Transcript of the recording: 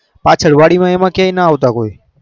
પસદ વારી માં એમાં ના કયા આવતા કોઈ